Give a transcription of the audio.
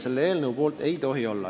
Selle eelnõu poolt ei tohi olla.